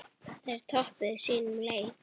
Þær töpuðu sínum leik.